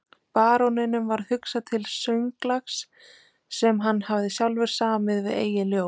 Baróninum varð hugsað til sönglags sem hann hafði sjálfur samið við eigið ljóð.